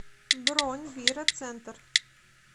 бронь вира центр